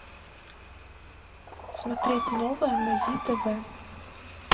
смотреть новое на зи тв